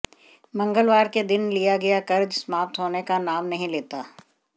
मंगलवार के दिन लिया गया कर्ज समाप्त होने का नाम नहीं लेता